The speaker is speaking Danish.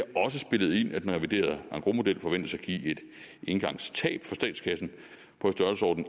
også spillet ind at den reviderede engrosmodel forventes at give et engangstab for statskassen